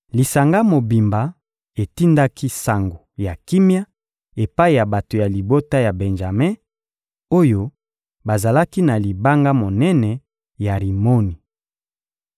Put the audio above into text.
Lisanga mobimba etindaki sango ya kimia epai ya bato ya libota ya Benjame, oyo bazalaki na libanga monene ya Rimoni.